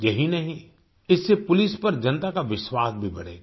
यही नहीं इससे पुलिस पर जनता का विश्वास भी बढ़ेगा